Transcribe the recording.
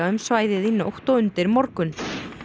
um svæðið í nótt og undir morgun